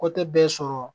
Ko tɛ bɛɛ sɔrɔ